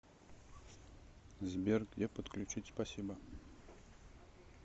сбер где подключить спасибо